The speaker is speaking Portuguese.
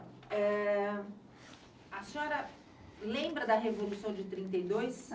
Eh A senhora lembra da Revolução de trinta e dois?